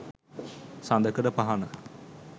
සඳකඩ පහණ